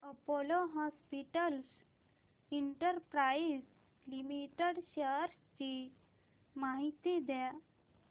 Apollo Hospitals Enterprise limited shares ची माहिती द्या